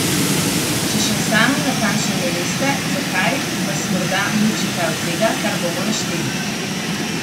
Če še sami natančno ne veste, zakaj, vas morda muči kaj od tega, kar bomo našteli.